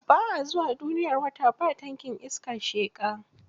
Ba a zuwa duniyar wata ba tankin iskar sheƙa.